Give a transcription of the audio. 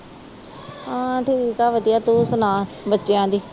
ਹਾਂ ਠੀਕ ਹੈ ਵਧੀਆ, ਤੂੰ ਸੁਣਾ ਬੱਚਿਆਂ ਦੀ